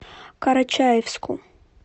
карачаевску